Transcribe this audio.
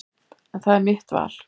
En það er mitt val.